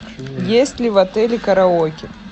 есть ли в отеле караоке